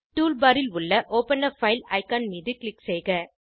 toolbar ல் உள்ள open ஆ பைல் ஐகான் மீது க்ளிக் செய்க